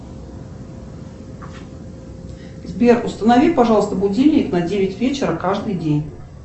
сбер установи пожалуйста будильник на девять вечера каждый день